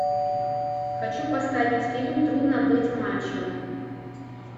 хочу поставить фильм трудно быть мачо